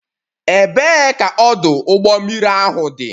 Ebee ka ọdụ ụgbọ mmiri ahụ dị?